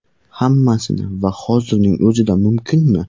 Hammasini va hozirning o‘zida mumkinmi?